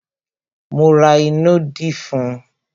Mo ra ìnù dí fún un